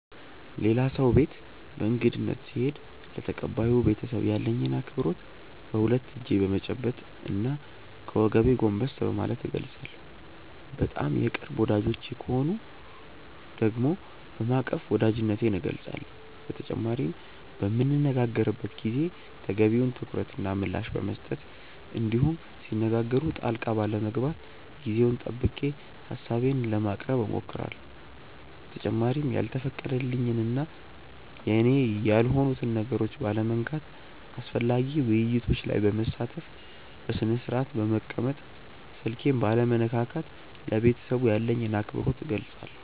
ሌላ ሰው ቤት በእንግድነት ስሄድ ለተቀባዩ ቤተሰብ ያለኝን አክብሮት በሁለት እጄ በመጨበጥ እና ከወገቤ ጎንበስ በማለት እገልፃለሁ። በጣም የቅርብ ወዳጆቼ ከሆኑ ደግሞ በማቀፍ ወዳጅነቴን እገልፃለሁ። በተጨማሪም በምንነጋገርበት ጊዜ ተገቢውን ትኩረት እና ምላሽ በመስጠት እንዲሁም ሲነጋገሩ ጣልቃ ባለመግባት ጊዜውን ጠብቄ ሀሳቤን በማቅረብ እሞክራለሁ። በተጨማሪም ያልተፈቀደልኝን እና የኔ ያልሆኑትን ነገሮች ባለመንካት፣ አስፈላጊ ውይይቶች ላይ በመሳተፍ፣ በስነስርአት በመቀመጥ፣ ስልኬን ባለመነካካት ለቤተሰቡ ያለኝን አክብሮት እገልፃለሁ።